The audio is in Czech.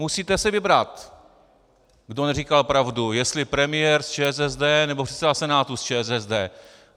Musíte si vybrat, kdo neříkal pravdu, jestli premiér z ČSSD, nebo předseda Senátu z ČSSD.